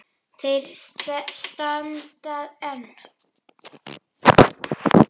Þeir standa enn.